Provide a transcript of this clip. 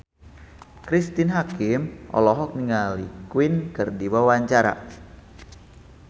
Cristine Hakim olohok ningali Queen keur diwawancara